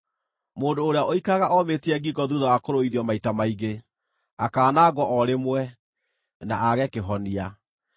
Mũndũ ũrĩa ũikaraga omĩtie ngingo thuutha wa kũrũithio maita maingĩ, akaanangwo o rĩmwe, na aage kĩhonia.